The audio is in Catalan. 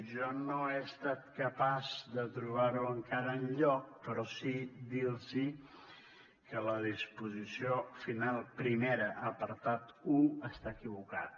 jo no he estat capaç de trobar ho encara enlloc però sí dir los que la disposició final primera apartat un està equivocada